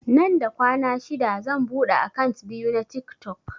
Nan da kwana shida zan buɗe akant biyu na tiktok